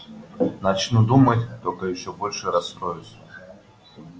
начну думать только ещё больше расстроюсь